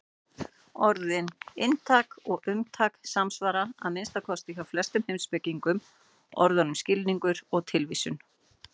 Orðin inntak og umtak samsvara, að minnsta kosti hjá flestum heimspekingum, orðunum skilningur og tilvísun.